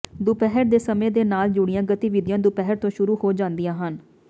ਦੁਪਹਿਰ ਦੇ ਸਮੇਂ ਦੇ ਨਾਲ ਜੁੜੀਆਂ ਗਤੀਵਿਧੀਆਂ ਦੁਪਹਿਰ ਤੋਂ ਸ਼ੁਰੂ ਹੋ ਜਾਂਦੀਆਂ ਹਨ